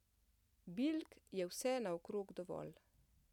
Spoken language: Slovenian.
Bilk je vse naokrog dovolj.